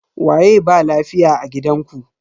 Waye ba lafiya a gidanku?